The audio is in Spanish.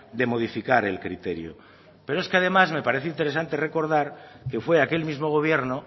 de modificar el criterio pero es que además me parece interesante recordar que fue aquel mismo gobierno